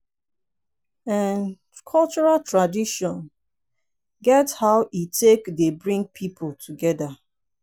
um cultural tradition get how e take dey bring pipo together